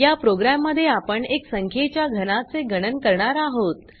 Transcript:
या प्रोग्राम मध्ये आपण एक संख्येच्या घनाचे गणन करणार आहोत